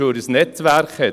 Weil er ein Netzwerk hat.